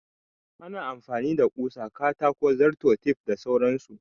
Ana amfani da ƙusa, katako, zarto, tef da sauran su.